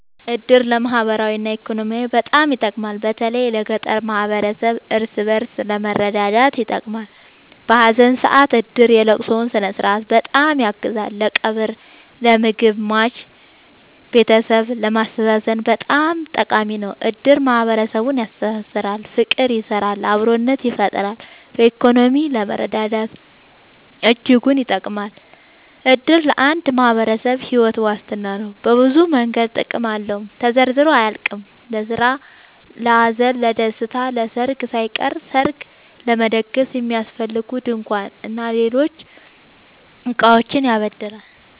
እድር ለማህበራዊ እና ኢኮኖሚያዊ በጣም ይጠቅማል። በተለይ ለገጠር ማህበረሰብ እርስ በእርስ ለመረዳዳት ይጠቅማል። በሀዘን ሰአት እድር የለቅሶውን ስነስርዓት በጣም ያግዛል ለቀብር ለምግብ የሟች ቤተሰብን ለማስተዛዘን በጣም ጠቃሚ ነው። እድር ማህረሰብን ያስተሳስራል። ፍቅር ይሰራል አብሮነትን ይፈጥራል። በኢኮኖሚም ለመረዳዳት እጅጉን ይጠብማል። እድር ለአንድ ማህበረሰብ ሒወት ዋስትና ነው። በብዙ መንገድ ጥቅም አለው ተዘርዝሮ አያልቅም። ለስራ ለሀዘን ለደሰታ። ለሰርግ ሳይቀር ሰርግ ለመደገስ የሚያስፈልጉ ድንኳን እና ሌሎች እቃዎችን ያበድራል